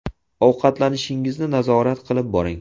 Ovqatlanishingizni nazorat qilib boring.